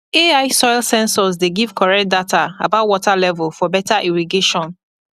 ai soil sensors dey give correct data about water level for better irrigation